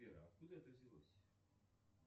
сбер откуда это взялось